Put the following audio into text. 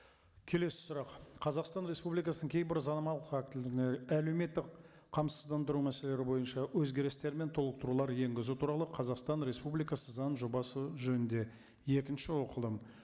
келесі сұрақ қазақстан республикасының кейбір заңнамалық актілеріне әлеуметтік қамсыздандыру мәселелері бойынша өзгерістер мен толықтырулар енгізу туралы қазақстан республикасы заң жобасы жөнінде екінші оқылым